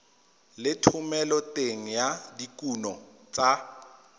le thomeloteng ya dikuno tsa